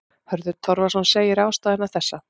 Hörður Torfason segir ástæðuna þessa.